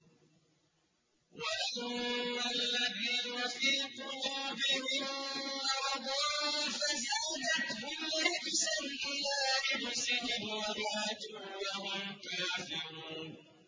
وَأَمَّا الَّذِينَ فِي قُلُوبِهِم مَّرَضٌ فَزَادَتْهُمْ رِجْسًا إِلَىٰ رِجْسِهِمْ وَمَاتُوا وَهُمْ كَافِرُونَ